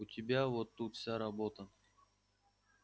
у тебя вот тут вся работа